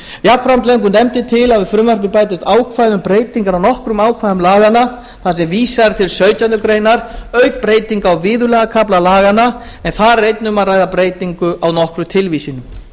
jafnframt leggur nefndin til að við frumvarpið bætist ákvæði um breytingar á nokkrum ákvæðum laganna þar sem vísað er til sautjándu grein auk breytinga á viðurlagakafla laganna en þar er einnig um að ræða breytingu á nokkrum tilvísunum